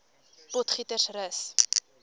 potgietersrus